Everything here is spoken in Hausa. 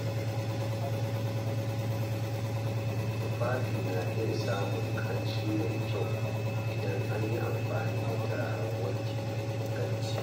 Tufafi na iya samun ƙamshi mai kyau idan an yi amfani da turaren wanki mai inganci.